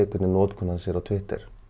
hvernig notkun hans er á Twitter